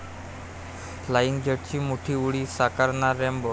flying जट्ट'ची मोठी उडी, साकारणार 'रॅम्बो'